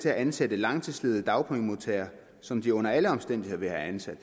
at ansætte langtidsledige dagpengemodtagere som de under alle omstændigheder ville have ansat